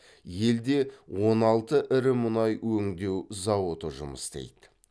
елде он алты ірі мұнай өңдеу зауыты жұмыс істейді